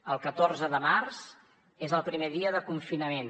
el catorze de març és el primer dia de confinament